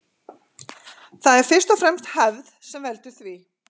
Það er fyrst og fremst hefð sem veldur því.